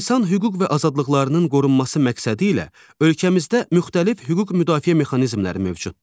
İnsan hüquq və azadlıqlarının qorunması məqsədi ilə ölkəmizdə müxtəlif hüquq müdafiə mexanizmləri mövcuddur.